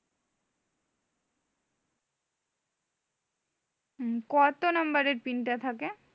হম কত নাম্বারের টা থাকে?